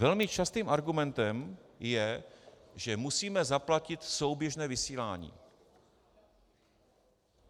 Velmi častým argumentem je, že musíme zaplatit souběžné vysílání.